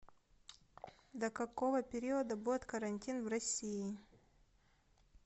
до какого периода будет карантин в россии